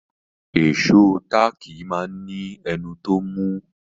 Ìṣó táàkì máa ní ẹnu tó mú.